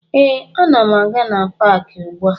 Ee, ana m aga na paakị ugbua